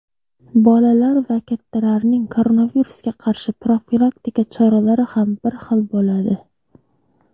Bolalar va kattalarning koronavirusga qarshi profilaktika choralari ham bir xil bo‘ladi.